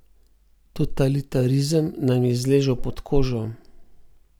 Totalitarizem nam je zlezel pod kožo.